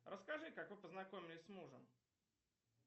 расскажи как вы познакомились с мужем